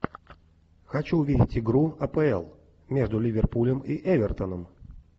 хочу увидеть игру апл между ливерпулем и эвертоном